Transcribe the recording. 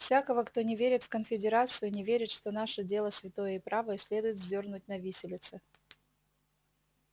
всякого кто не верит в конфедерацию не верит что наше дело святое и правое следует вздёрнуть на виселице